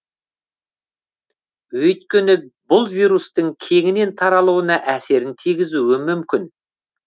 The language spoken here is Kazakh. өйткені бұл вирустың кеңінен таралуына әсерін тигізуі мүмкін